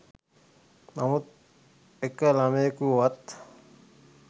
නමුත් එක ළමයෙකුවත්